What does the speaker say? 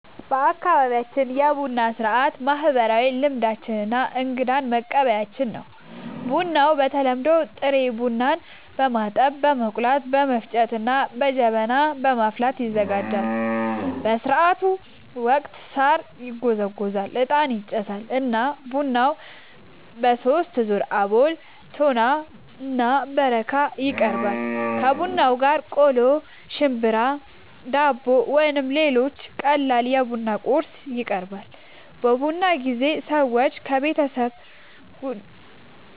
በአካባቢያችን የቡና ሥርዓት ማህበራዊ ልምዶች እና እንግዳን መቀበያችን ነው። ቡናው በተለምዶ ጥሬ ቡናን በማጠብ፣ በመቆላት፣ በመፍጨት እና በጀበና በማፍላት ይዘጋጃል። በሥርዓቱ ወቅት ሣር ይጎዘጎዛል፣ ዕጣን ይጨሳል እና ቡናው በሦስት ዙር (አቦል፣ ቶና እና በረካ) ይቀርባል። ከቡናው ጋር ቆሎ፣ ሽምብራ፣ ዳቦ ወይም ሌሎች ቀላል የቡና ቁርስ ይቀርባል። በቡና ጊዜ ሰዎች የቤተሰብ